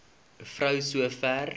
vrou so ver